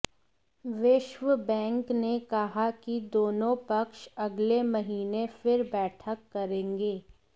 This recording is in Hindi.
विश्व बैंक ने कहा कि दोनों पक्ष अगले महीने फिर बैठक करेंगे